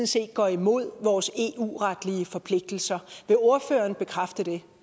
set går imod vores eu retlige forpligtelser vil ordføreren bekræfte det